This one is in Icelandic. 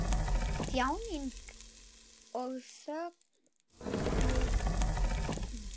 Þjáning og þögult óp!